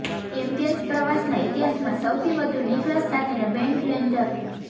champions પ્રવાસના ઇતિહાસમાં સૌથી વધુ નિકલસ સાથેના બૅન્ડ લૅન્જર